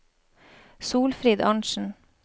Solfrid Arntzen